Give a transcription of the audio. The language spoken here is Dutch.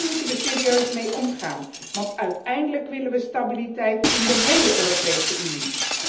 Daar moeten wij serieus mee omgaan, want uiteindelijk willen wij stabiliteit in de héle Europese Unie.